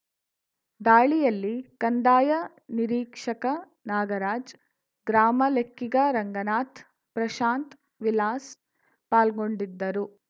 ದಾಳಿಯಲ್ಲಿ ಕಂದಾಯ ನಿರೀಕ್ಷಕ ನಾಗರಾಜ್‌ ಗ್ರಾಮ ಲೆಕ್ಕಿಗ ರಂಗನಾಥ್‌ ಪ್ರಶಾಂತ್‌ ವಿಲಾಸ್‌ ಪಾಲ್ಗೊಂಡಿದ್ದರು